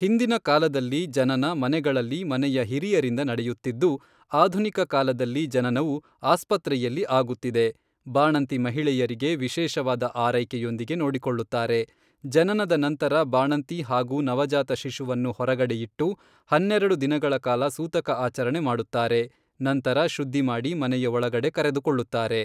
ಹಿಂದಿನ ಕಾಲದಲ್ಲಿ, ಜನನ ಮನೆಗಳಲ್ಲಿ ಮನೆಯ ಹಿರಿಯರಿಂದ ನಡೆಯುತ್ತಿದ್ದು, ಆಧುನಿಕ ಕಾಲದಲ್ಲಿ ಜನನವು, ಆಸ್ಪತ್ರೆಯಲ್ಲಿ ಆಗುತ್ತಿದೆ, ಬಾಣಂತಿ ಮಹಿಳೆಯರಿಗೆ ವಿಶೇಷವಾದ ಆರೈಕೆಯೊಂದಿಗೆ ನೋಡಿಕೊಳ್ಳುತ್ತಾರೆ, ಜನನದ ನಂತರ ಬಾಣಂತಿ ಹಾಗೂ ನವಜಾತ ಶಿಶುವನ್ನು ಹೊರಗಡೆ ಇಟ್ಟು, ಹನ್ನೆರೆಡು ದಿನಗಳ ಕಾಲ ಸೂತಕ ಆಚರಣೆ ಮಾಡುತ್ತಾರೆ ನಂತರ ಶುದ್ದಿಮಾಡಿ ಮನೆಯ ಒಳಗಡೆ ಕರೆದುಕೊಳ್ಳುತ್ತಾರೆ.